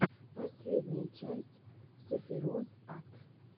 последняя часть сэфироз ат